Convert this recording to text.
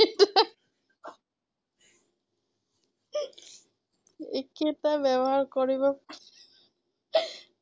একেটা ব্যৱহাৰ কৰিব